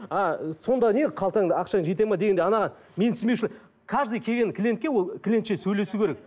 ы сонда не қалтаңда ақшаң жетеді ме дегендей анаған менсінбеушілік каждый келген клиентке ол клиентше сөйлесу керек